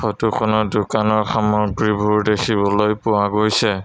Photo খনত দোকানৰ সামগ্ৰীবোৰ দেখিবলৈ পোৱা গৈছে।